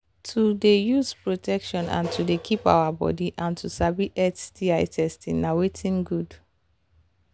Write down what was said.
to they use protection and to they keep our body and to sabi sti testing na watin good